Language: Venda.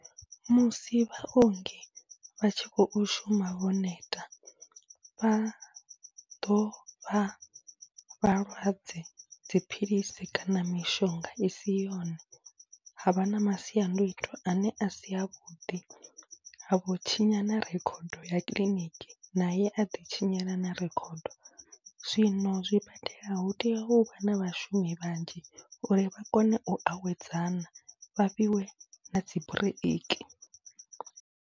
Musi vhaongi vha tshi khou shuma vho neta, vha ḓo fha vhalwadze dziphilisi kana mishonga i si yone, ha vha na masiandoitwa ane a si avhuḓi ha vho tshinya na rekhodo ya kiḽiniki naye a ḓitshinyela na rekhodo. Zwino zwibadela hu tea hu na vhashumi vhanzhi uri vha kone u awedzana vha fhiwe na dzi bureiki.